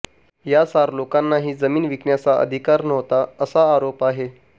या चार लोकांना ही जमीन विकण्याचा अधिकार नव्हता असा आरोप आहे